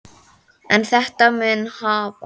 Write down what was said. En þetta mun hafast.